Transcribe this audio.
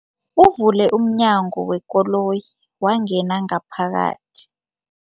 Uvule umnyango wekoloyi wangena ngaphakathi.